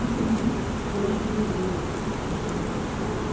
ты принёс представителю вирус